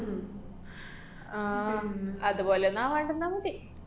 ആഹ് ഉം അതുപോലൊന്നും ആവാണ്ടിരുന്നാ മതി.